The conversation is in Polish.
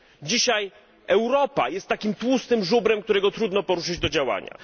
Dzisiaj Europa jest takim tłustym żubrem, którego trudno poruszyć do działania.